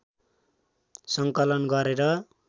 सङ्कलन गरेर